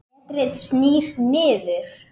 Letrið snýr niður.